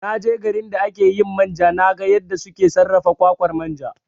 Na je garin da ake yin manja na ga yadda suke sarrafa kwakwar manja